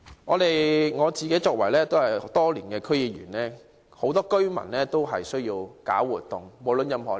我多年來擔任區議員，知道無論任何年齡的居民都需要搞活動。